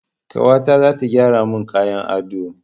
Kawata zata gyara mun kayan ado